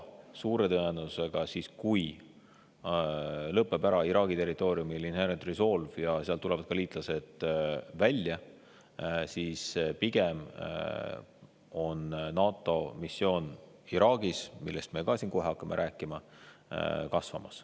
Suure tõenäosusega, kui Inherent Resolve lõpeb Iraagi territooriumil ära ja sealt tulevad ka meie liitlased välja, siis pigem kasvab NATO missioon Iraagis, millest me siin kohe hakkame rääkima.